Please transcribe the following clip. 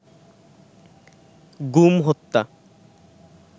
গুম হত্যা